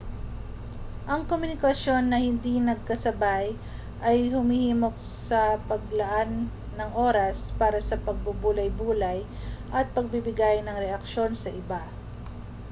ang komunikasyon na hindi magkasabay ay humihimok sa paglalaan ng oras para sa pagbubulay-bulay at pagbibigay ng reaksyon sa iba